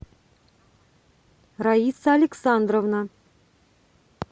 раиса александровна